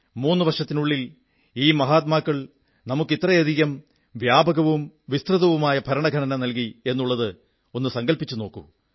മൂന്നു വർഷത്തിനുള്ളിൽ ഈ മഹാത്മാക്കൾ നമുക്ക് ഇത്രയും വ്യാപകവും വിസ്തൃതവുമായ ഭരണ ഘടന നല്കി എന്നുള്ളത് സങ്കല്പിച്ചു നോക്കൂ